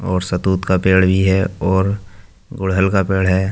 और सहतूत का पेड़ भी है और गुलहड़ का पेड़ है।